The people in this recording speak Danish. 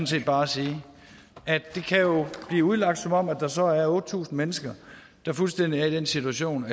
set bare at sige at det kan jo blive udlagt som om der så er otte tusind mennesker der fuldstændig er i den situation